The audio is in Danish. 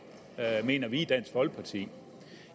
mener vi i dansk folkeparti